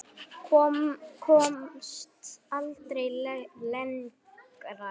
Komst aldrei lengra.